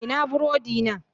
Ina burodina?